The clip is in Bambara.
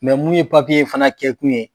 Mɛ mun ye papiye fana kɛ kun ye